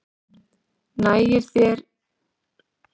nægir þar að nefna dæmi eins og stjörnuspeki